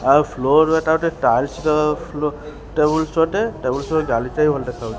ଆଉ ସ୍ଲୋ ହଉଥିଲା ତାକୁ ଟିକେ ଟାଇଟ୍ ର ଫ୍ଲୋ ଟେବୁଲ ଟେବୁଲ ର ସହ ଗାଡି ଟା ବି ଭଲ ଦେଖାଉ --